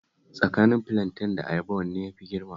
Tsakanin filanten da ayaba wanne ne ya fi girma?